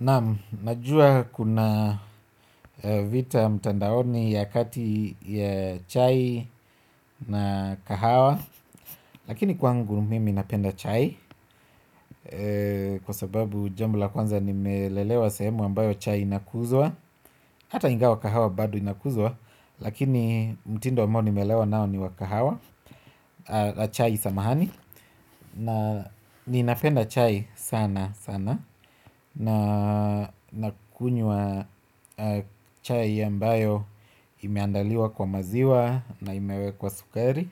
Naam, najua kuna vita mtandaoni ya kati ya chai na kahawa. Lakini kwangu mimi napenda chai. Kwa sababu jambo la kwanza nimelelewa sehemu ambayo chai inakuzwa. Hata ingawa kahawa bado inakuzwa lakini mtindo ambao nimelelewa nao ni wakahawa. La chai samahani. Na ninapenda chai sana sana. Na kunywa chai ya ambayo imeandaliwa kwa maziwa na imewekwa sukari.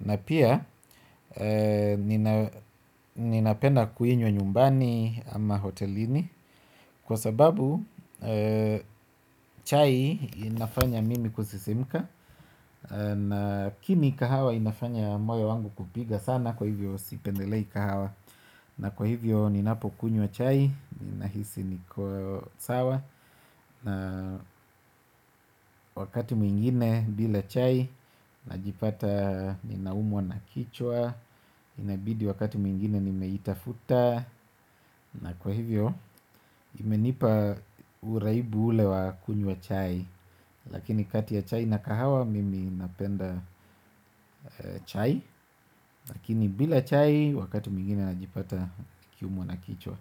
Na pia ninapenda kuinywa nyumbani ama hotelini. Kwa sababu chai inafanya mimi kusisimka. Na kini kahawa inafanya moyo wangu kupiga sana kwa hivyo sipendelei kahawa. Na kwa hivyo ni napo kunywa chai, ni nahisi niko sawa. Na wakati mwingine bila chai, najipata ni naumwa na kichwa. Inabidi wakati mwingine ni meitafuta. Na kwa hivyo, imenipa uraibu ule wa kunywa wa chai. Lakini kati ya chai na kahawa, mimi napenda chai. Lakini bila chai, wakati mwingine najipata nikiumwa na kichwa.